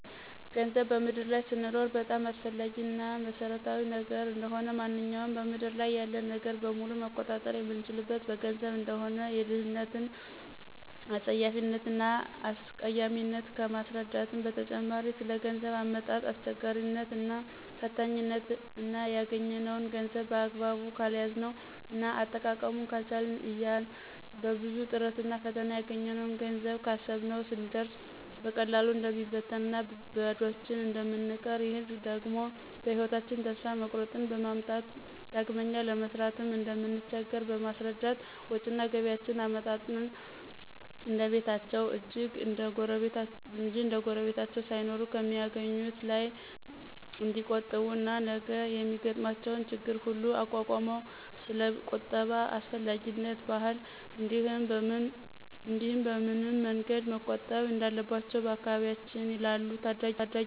ገንዘብ በምድር ላይ ስንኖር በጣም አስፈላጊ እና መሰረታዊ ነገር እንደሆነ፣ ማንኛውንም በምድር ያለ ነገር በሙሉ መቆጣጠር የምንችለው በገንዘብ እንደሆነ፣ የድህነትን አጸያፊነት እና አስቀያሚነት ከማስረዳትም በተጨማሪ ስለገንዘብ አመጣጥ አስቸጋሪነት እና ፈታኝነት እና ያገኝነውን ገንዘብ በአግባቡ ካልያዝነው እና አጠቃቀሙን ካልቻልን ያን በብዙ ጥረትና ፈተና ያገኘነውን ገንዘብ ካሰብነው ስንደርስ በቀላሉ እንደሚበትንና ባዷችን እንደምንቀር ይህ ደግሞ በህይወታቸን ተስፋ መቁረጥን በማምጣት ዳግመኛ ለመስራትም እንደምንቸገር በማስረዳት ወጭና ገቢያቸዉን አመጣጥነው እንደቤታቸው እንጅ እንደጉረቤታቸው ሳይኖሩ ከሚአገኙት ላይ ንዲቆጥቡ እና ነገ የሚገጥሟቸው ችግሮች ሁሉ እንዲቋቋሙ ስለቁጠባ አስፈላጊነትና ባህል እንዲህም በምን መንገድ መቆጠብ እንዳለባቸው በአካባቢያችን ላሉ ታዳጊወች እናስረዳቸዋለን።